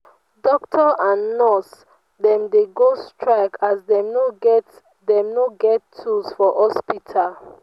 doctor and nurse dem dey go strike as dem no get dem no get tools for hospital.